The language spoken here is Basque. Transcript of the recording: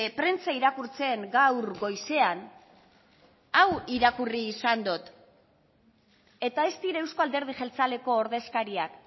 prentsa irakurtzen gaur goizean hau irakurri izan dut eta ez dira euzko alderdi jeltzaleko ordezkariak